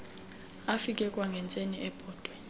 afike kwangentseni ebhotwe